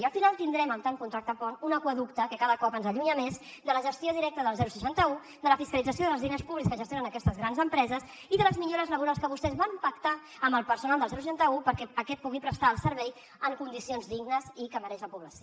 i al final tindrem amb tant contracte pont un aqüeducte que cada cop ens allunya més de la gestió directa del seixanta un de la fiscalització dels diners públics que gestionen aquestes grans empreses i de les millores laborals que vostès van pactar amb el personal del seixanta un perquè aquest pugui prestar el servei en condicions dignes i que mereix la població